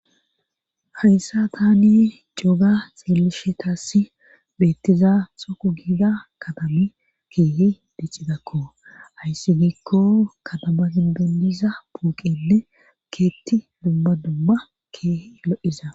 Hayssa tani couga xillishe taassi beettiza xoku giida katali keehi diccidakko hayssi giikko kadabagin bendiza puuqenne keetti dumba dumma keehe lo7iza